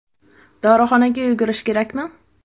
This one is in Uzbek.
Dorixonaga yugurish kerakmi?